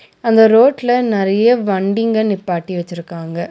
அந்த ரோட்ல நெறைய வண்டிங்க நிப்பாட்டி வெச்சிருக்காங்க.